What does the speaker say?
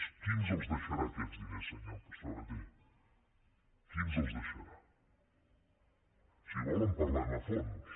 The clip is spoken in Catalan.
qui ens els deixarà aquests diners senyor sabaté qui ens els deixarà si vol en parlem a fons